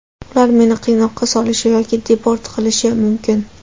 Ular meni qiynoqqa solishi yoki deport qilishi mumkin.